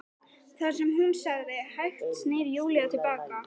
Það sem hún sagði- Hægt snýr Júlía til baka.